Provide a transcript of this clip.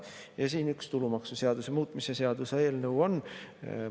Ja siin üks tulumaksuseaduse muutmise seaduse eelnõu on.